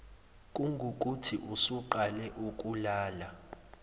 kungukuthi usuqale ukulala